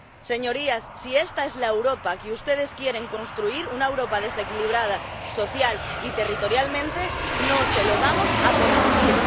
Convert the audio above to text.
Señorías, si esta es la Europa que ustedes quieren construir, una Europa desequilibrada social y territorialmente, no se lo vamos a permitir.